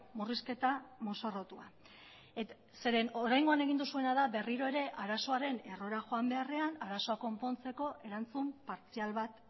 murrizketa mozorrotua zeren oraingoan egin duzuena da berriro ere arazoaren errora joan beharrean arazoa konpontzeko erantzun partzial bat